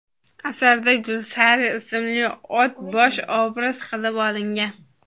Asarda Gulsari ismli ot bosh obraz qilib olingan.